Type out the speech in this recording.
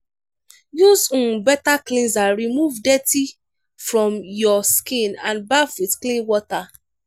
use um better cleanser remove dirty from your skin and baff with clean water